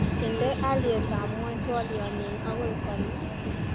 Indenee aliyatab ngwony twoliotnyu akoi kome